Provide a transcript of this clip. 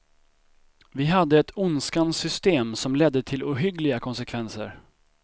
Vi hade ett ondskans system som ledde till ohyggliga konsekvenser.